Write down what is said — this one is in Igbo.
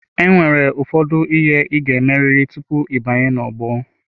Enwere ụfọdụ ihe ị ga-emerịrị tupu ịbanye n'ogbo.